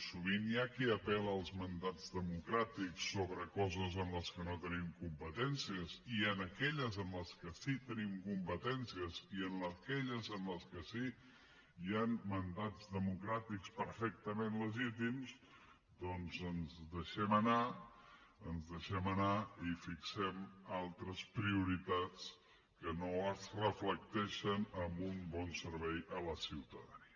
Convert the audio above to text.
sovint hi ha qui apel·la als mandats democràtics sobre coses en les que no tenim competències i en aquelles en les que sí que tenim competències i en aquelles en les que sí que hi han mandats democràtics perfectament legítims doncs ens deixem anar ens deixem anar i fixem altres prioritats que no es reflecteixen en un bon servei a la ciutadania